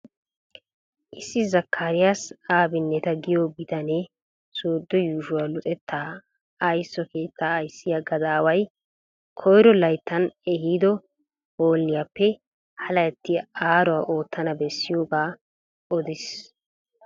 Issi Zakkariyaasa Abinneta giyo bitanee soodo yuushuwa luxetta ayiso keettaa ayisiya gadaaway koyiro layittan ehiido hooliyappe ha layitti aaruwa oottana bessiyooga odes.